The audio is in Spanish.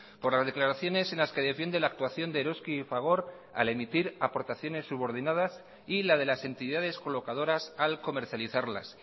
por las declaraciones en las que defiende la actuación de eroski y fagor al emitir aportaciones subordinadas y la de las entidades colocadoras al comercializarlas